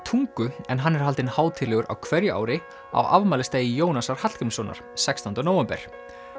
tungu en hann er haldinn hátíðlegur á hverju ári á afmælisdegi Jónasar Hallgrímssonar sextánda nóvember